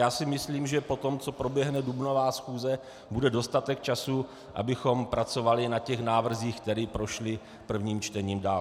Já si myslím, že po tom, co proběhne dubnová schůze, bude dostatek času, abychom pracovali na těch návrzích, které prošly prvním čtením dál.